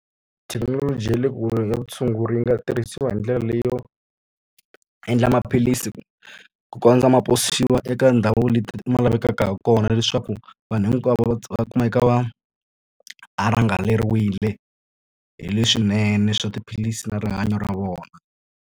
Thekinoloji ya le kule ya vutshunguri yi nga tirhisiwa hi ndlela leyo endla maphilisi ku ku kondza ma posiwa eka ndhawu leti ma lavekaka ha kona leswaku vanhu hinkwavo va va kuma eka va angarheriwile hi leswinene swa tiphilisi na rihanyo ra vona.